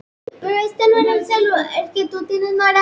Þannig kann að fara.